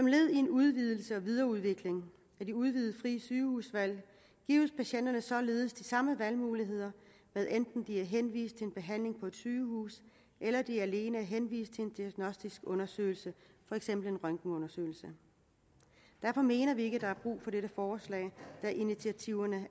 led i en udvidelse og videreudvikling af det udvidede frie sygehusvalg gives patienterne således de samme valgmuligheder hvad enten de er henvist til en behandling på sygehus eller de alene er henvist til en diagnostisk undersøgelse for eksempel en røntgenundersøgelse derfor mener vi ikke at der er brug for dette forslag da initiativerne